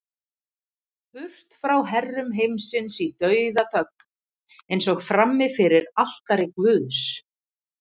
Burt frá herrum heimsins í dauðaþögn, eins og frammi fyrir altari guðs.